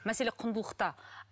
мәселе құндылықта